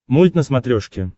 мульт на смотрешке